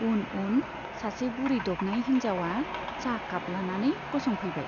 उन उन सासे बुरै दबनाय हिन्जावा चाह काप लानानै गसंफैबाय।